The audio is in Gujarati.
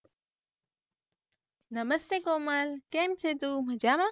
નમસ્તે કોમલ કેમ છે તું મજામાં?